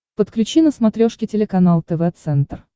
подключи на смотрешке телеканал тв центр